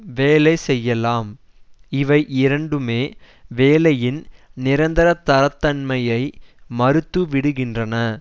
வேலை செய்யலாம் இவை இரண்டுமே வேலையின் நிரந்தரத்தன்மையை மறுத்துவிடுகின்றன